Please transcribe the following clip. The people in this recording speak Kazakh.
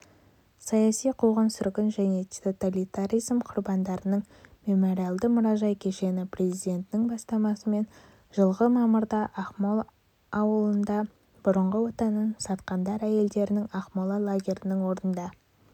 саяси қуғын-сүргін және тоталитаризм құрбандарының мемориалды-мұражай кешені президентінің бастамасымен жылғы мамырда ақмол ауылында бұрынғы отанын сатқандар әйелдерінің ақмола лагерінің орнында